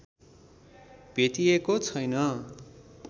भेटिएको छैन